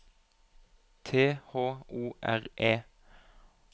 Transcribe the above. T H O R E